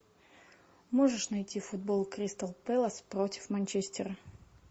можешь найти футбол кристал пэлас против манчестера